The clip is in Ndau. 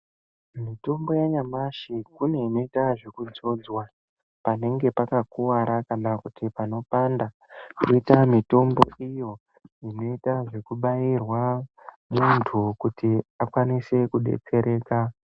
Mitombo yanyamashi, kune inoita zvekudzodzwa panenge pakakuwara kana kuti panopanda, koita mitombo iyo inoita zvekubairwa muntu kuti akwanise kubetsereka.